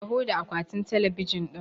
Taho da akwatin talabijin ɗin!